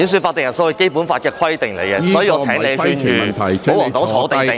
法定人數是《基本法》的規定，所以，我請你勸諭保皇黨"坐定定"。